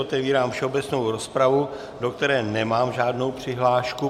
Otevírám všeobecnou rozpravu, do které nemám žádnou přihlášku.